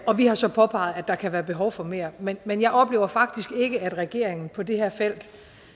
og vi har så påpeget at der kan være behov for mere men men jeg oplever faktisk ikke at regeringen på det her felt